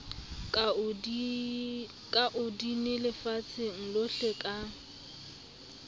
ka online lefatsheng lohle ka